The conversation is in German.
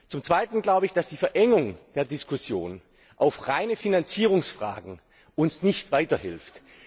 Zum Zweiten glaube ich, dass uns die Verengung der Diskussion auf reine Finanzierungsfragen nicht weiterhilft.